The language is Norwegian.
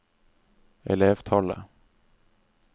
elevtallet